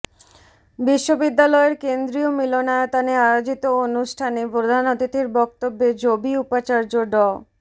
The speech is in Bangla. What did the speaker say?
বিশ্ববিদ্যালয়ের কেন্দ্রীয় মিলনায়তনে আয়োজিত অনুষ্ঠানে প্রধান অতিথির বক্তব্যে জবি উপাচার্য ড